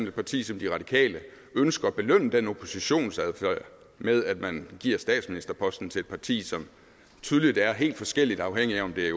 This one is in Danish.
et parti som de radikale ønsker at belønne den oppositionsadfærd med at man giver statsministerposten til et parti som tydeligt er helt forskelligt afhængig om det